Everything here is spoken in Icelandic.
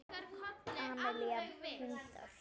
Amelía: Hundar.